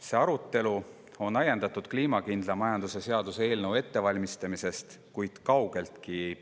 See arutelu on ajendatud kliimakindla majanduse seaduse eelnõu ettevalmistamisest, kuid ei piirdu kaugeltki sellega.